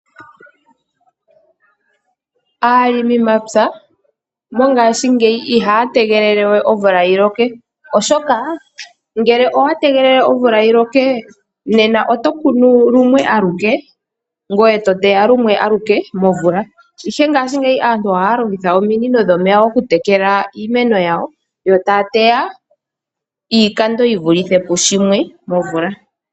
Aalimimapya, mongashingeyi ihaya we tegelele omvula yi loke, oshoka ngele owa tegelele omvula yi loke, nena oto kunu lumwe aluke, ngoye to teya lumwe aluke momvula. Ihe ngashingeyi aantu ohaya longitha ominino dhomeya oku tekela iimeko yawo, yo taa teya iikando yi vulithe pu shimwe momvula.